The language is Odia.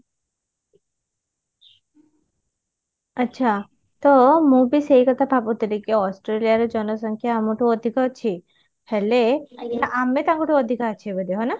ଆଛା ତ ମୁଁ ବି ସେଇ କଥା ଭାବୁଥିଲି କି ଅଷ୍ଟ୍ରେଲିଆରେ ଜନସଂଖ୍ୟା ଆମଠୁ ଅଧିକ ଅଛି ହେଲେ ଆମେ ତାଙ୍କଠୁ ଅଧିକା ଅଛେ ବୋଧେ ହଁ ନା?